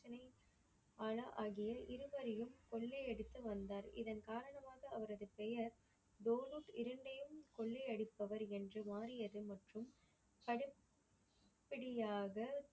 அலா ஆகிய இருவரையும் கொள்ளை அடித்து வந்தார். இதன் காரணமாக அவரது பெயர் டோநோக் இரண்டையும் கொள்ளை அடிப்பவர் என்று மாறியது மற்றும் அடுத் படியாக.